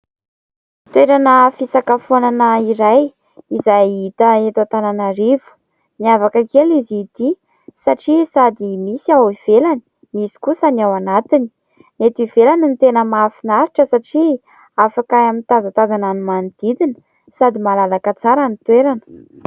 Toerana fisakafoanana iray izay hita eto Antananarivo. Miavaka kely izy ity satria sady misy ao ivelany, misy kosa ny ao anatiny. Ny eto ivelany no tena mahafinaritra satria afaka mitazatazana ny manodidina sady malalaka tsara ny toerana.